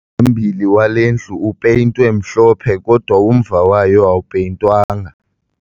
Umphambili wale ndlu upeyintwe mhlophe kodwa umva wayo awupeyintwanga